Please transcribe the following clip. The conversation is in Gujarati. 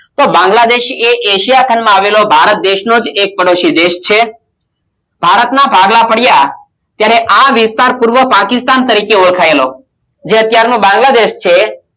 બાગ્લા દેશ અશેયા ખંડ માં આવેલો ભારત દેશ નો એક પાડોસી દેશ છે ભારત માં ભાગલા પડિયા ત્યારે આ વિસ્તાર પાકિસ્તાન તરીકે ઓળખાયેલો જે અતિયારે બાંગ્લાદેશ છે